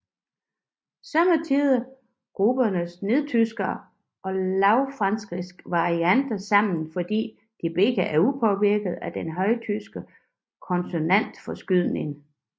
Somme tider grupperes nedertyske og lavfrankiske varianter sammen fordi de begge er upåvirkede af den højtyske konsonantforskydning